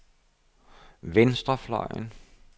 venstrefløjen